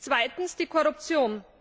Zweitens, die Korruption.